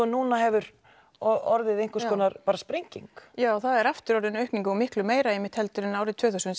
núna hefur orðið einhver sprenging já það er aftur orðin aukning og miklu meira en einmitt árið tvö þúsund